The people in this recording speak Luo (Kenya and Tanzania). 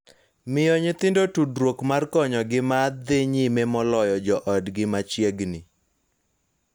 Miyo nyithindo tudruok mar konyogi ma dhi nyime moloyo jo otgi machiegni.